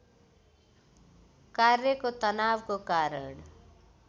कार्यको तनावको कारण